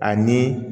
Ani